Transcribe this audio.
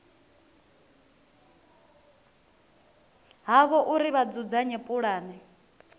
havho uri vha dzudzanye pulane